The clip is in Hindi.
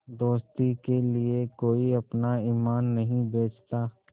दोस्ती के लिए कोई अपना ईमान नहीं बेचता